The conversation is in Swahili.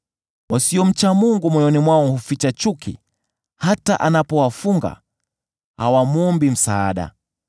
“Wasiomcha Mungu moyoni mwao huficha chuki; hata anapowafunga, hawamwombi msaada.